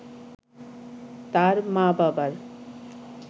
তাঁর মা-বাবার